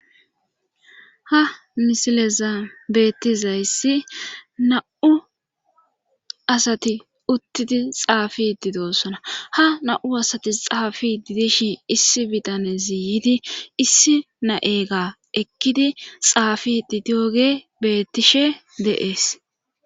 ha misilezan beettizayssi na7u asati uttidi xaafidi doossona ha na7u asati xaafididishi issi bitane ziyidi issi na7ega ekkidi xaafidi dioge beettishe deees